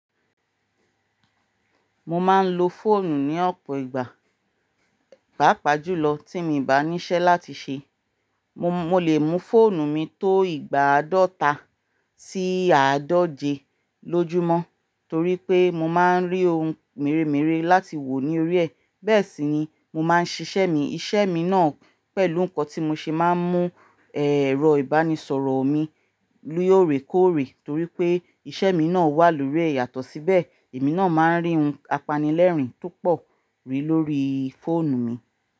Mo máa ń lo fóònù ní ọ̀pọ̀ ìgbà, pàápàá jùlọ tí mi ò bá níṣẹ́ láti ṣe. Mo, mo lè mu fóònù mi tó ìgbà àádọ́ta sí àádọ́jẹ lójúmọ́ torí pé mo máa ń rí ohun mèremère láti wò ní orí ẹ̀. Bẹ́ẹ̀ sì ni mo máa ń ṣiṣẹ́ mi, iṣẹ́ mi náà pẹ̀lú nǹkan tí mo ṣe máa ń mú ẹ̀rọ ìbánisọ̀rọ̀ mi lú ò rè kó rè torí pé iṣẹ́ mi náà wà lórí ẹ̀yàtọ̀ síbẹ̀ èmi náà máa ń rí ohun apanilẹ́rìn tó pọ̀ rí lórí fóònù mi.